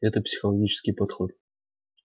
это психологический подход